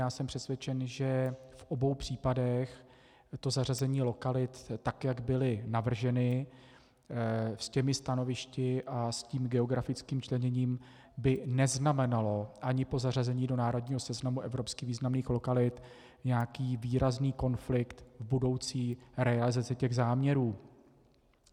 Já jsem přesvědčen, že v obou případech to zařazení lokalit, tak jak byly navrženy, s těmi stanovišti a s tím geografickým členěním, by neznamenalo ani po zařazení do národního seznamu evropsky významných lokalit nějaký výrazný konflikt v budoucí realizaci těch záměrů.